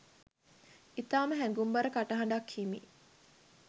ඉතාම හැඟුම්බර කටහඬක් හිමි